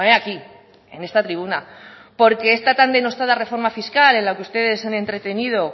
aquí en esta tribuna porque esta tan denostada reforma fiscal en la que ustedes se han entretenido